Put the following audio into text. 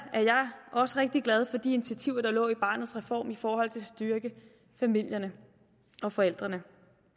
også rigtig glad for de initiativer der lå i barnets reform i forhold til at styrke familierne og forældrene